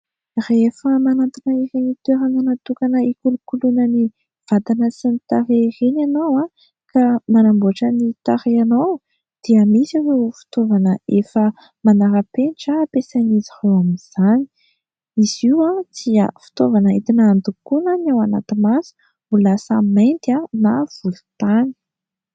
rehefa manantina iren'ny toeranga natokana ikolo-koloana ny vadana sy ny tare ireny ianao aho ka manamboatra ny tarehinao dia misy hoe fitovana efa manara-pentra ampesainizy ao amin'izany izy io aho tsy fitoavana idina andokoana ny ao anaty masy mbola say maindy aho na volotany